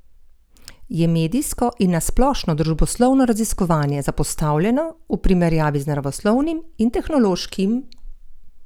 Je medijsko in na splošno družboslovno raziskovanje zapostavljeno v primerjavi z naravoslovnim in tehnološkim?